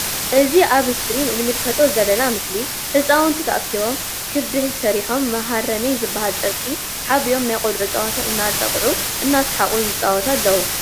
እዚ ኣብ እስክሪን እንምልከቶ ዘለና ምስሊ ህጻውንቲ ተኣኪቦም ክቢ ሰሪሖም መሃረማይ ዝበሃል ጨርቂ ሓቢኦም ናይ ቆልዑ ጸወታ እናጠቅዑ እናስሓቁ ይጻወቱ ኣለዉ።